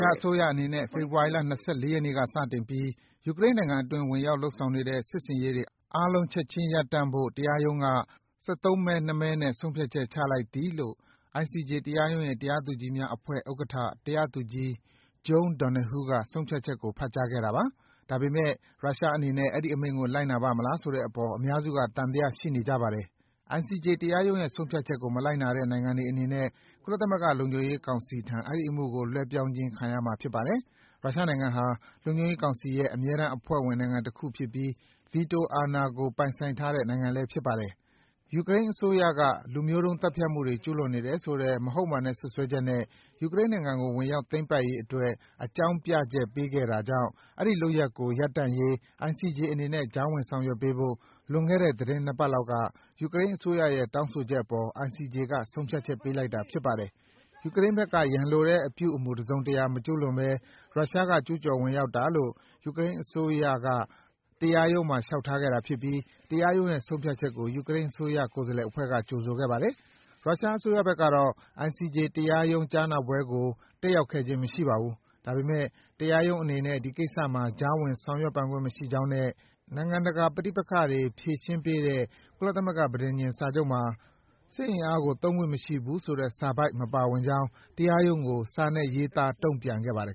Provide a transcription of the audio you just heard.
ှားအစိုးရအနေနဲ့ ဖေဖော်ဝါရီလ ၂၄ ရက်နေ့ကစတင်ပြီး ယူကရိန်းနိုင်ငံတွင်း ဝင်ရောက်လုပ်ဆောင်နေတဲ့ စစ်ဆင်ရေးတွေ အားလုံး ချက်ခြင်းရပ်တန့်ဖို့ တရားရုံးက ၁၃ မဲ ၊ ၂ မဲနဲ့ ဆုံးဖြတ်ချက် ချမှတ်လိုက်သည်” လို့ ICJ တရားရုံးရဲ့ တရားသူကြီးများ အဖွဲ့ဥက္ကဋ္ဌ တရားသူကြီး Joan Donohue က ဆုံးဖြတ်ချက်ကို ဖတ်ကြားခဲ့ပါတယ်။ ဒါပေမယ့် ရုရှားအနေနဲ့ အဲဒီ အမိန့်ကို လိုက်နာပါ့မလားဆိုတဲ့အပေါ် အများစုက သံသယရှိနေကြပါတယ်။ ICJ တရားရုံးရဲ့ဆုံးဖြတ်ချက်ကိုမလိုက်နာတဲ့ နိုင်ငံတွေအနေနဲ့ ကုလသမဂ္ဂလုံခြုံရေးကောင်စီထံ အဲဒီအမှုကို လွှဲပြောင်းခြင်း ခံရမှာဖြစ်ပါတယ်။ ရုရှားနိုင်ငံဟာ လုံခြုံရေးကောင်စီရဲ့ အမြဲတမ်းအဖွဲ့ဝင် နိုင်ငံတခုဖြစ်ပြီး ဗီတိုအာဏာကို ပိုင်ဆိုင်ထားတဲ့ နိုင်ငံဖြစ်ပါတယ်။ ယူကရိန်းအစိုးရက လူမျိုးတုံးသတ်ဖြတ်မှုတွေ ကျူးလွန်နေတယ်ဆိုတဲ့ မဟုတ်မှန်တဲ့စွပ်စွဲချက်နဲ့ ယူကရိန်းနိုင်ငံကို ဝင်ရောက် သိမ်းပိုက်ရေးအတွက် အကြောင်းပြချက်ပေးခဲ့တာကြောင့် ဒီလုပ်ရပ်ကိုရပ်တန့်ရေး ICJ အနေနဲ့ ကြားဝင်ဆောင်ရွက်ပေးဖို့ လွန်ခဲ့တဲ့ သီတင်းနှစ်ပတ်လောက်က ယူကရိန်းအစိုးရရဲ့ တောင်းဆိုချက်အပေါ် ICJ က ဆုံးဖြတ်ပေးလိုက်တာ ဖြစ်ပါတယ်။ ယူကရိန်းဘက်က ရန်လိုတဲ့အပြုအမူ တစုံတရာမကျူးလွန်ဘဲ ရုရှားက ကျူးကျော်ဝင်ရောက်တာလို့ ယူကရိန်းအစိုးရက တရားရုံးမှာ လျှောက်ထားခဲ့တာဖြစ်ပြီး တရားရုံးရဲ့ဆုံးဖြတ်ချက်ကို ယူကရိန်းအစိုးရ ကိုယ်စားလှယ်အဖွဲ့က ကြိုဆိုခဲ့ပါတယ်။ ရုရှားအစိုးရဘက်ကတော့ ICJ တရားရုံးကြားနာပွဲကို တက်ရောက်ခဲ့ခြင်းမရှိပါဘူး။ ဒါပေမယ့် တရားရုံးအနေနဲ့ ဒီကိစ္စမှာ ကြားဝင် ဆောင်ရွက်ပိုင်ခွင့်မရှိကြောင်းနဲ့ နိုင်ငံတကာပဋိပက္ခတွေ ဖြေရှင်းပေးတဲ့ ကုလသမဂ္ဂ ပဋိဉာဉ်စာချုပ်မှာ စစ်အင်အားကို သုံးခွင့်မရှိဘူးဆိုတဲ့စာပိုဒ် မပါဝင်ကြောင်း တရားရုံးကို စာနဲ့ရေးသား တုံ့ပြန်ခဲ့ပါတယ်